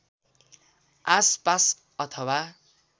आस पास अथवा